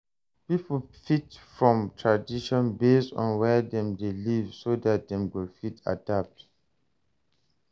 Pipo fit form tradition based on where dem de live so that dem go fit adapt